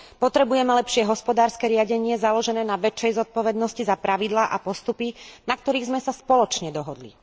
Potrebujeme lepšie hospodárske riadenie založené na väčšej zodpovednosti za pravidlá a postupy, na ktorých sme sa spoločne dohodli.